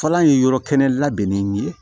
Fɔlɔ ye yɔrɔ kɛnɛ labɛnnen ye